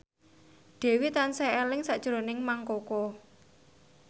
Dewi tansah eling sakjroning Mang Koko